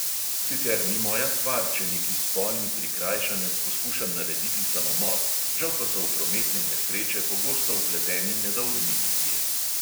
Sicer ni moja stvar, če neki spolni prikrajšanec poskuša narediti samomor, žal pa so v prometne nesreče pogosto vpleteni nedolžni ljudje.